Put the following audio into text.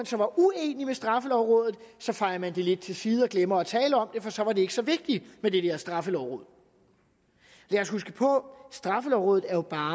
så er uenig med straffelovrådet fejer man det lidt til side og glemmer at tale om det for så var det ikke så vigtigt med det der straffelovråd lad os huske på straffelovrådet jo bare